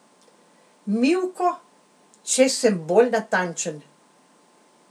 Mivko, če sem bolj natančen.